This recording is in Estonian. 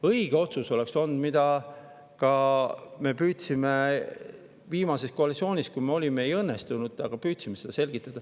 Õige otsus oleks olnud see, mida me püüdsime selgitada viimases koalitsioonis, kus me olime, aga ei õnnestunud.